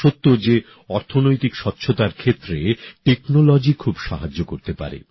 এটা সত্য যে অর্থনৈতিক স্বচ্ছতার ক্ষেত্রে প্রযুক্তি খুব সাহায্য করতে পারে